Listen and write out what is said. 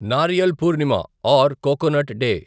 Nariyal Purnima or coconut day